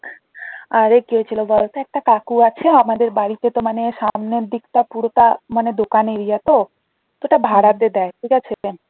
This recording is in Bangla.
আরে কি হয়েছিল বলত একটা কাকু আছে আমাদের বাড়িতে তো মানে সামনের দিকটা পুরোটা মানে দোকান area তো তো ওটা ভাড়াতে দেয় ঠিক আছে main